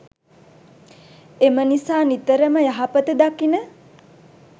එම නිසා නිතරම යහපත දකින,